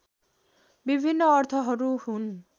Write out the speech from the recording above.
विभिन्न अर्थहरू हुन्